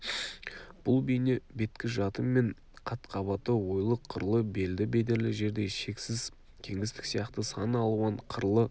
бұл бейне беткі жаты мен қат-қабаты ойлы-қырлы белді бедерлі жердей шексіз кеңістік сияқты сан алуан қырлы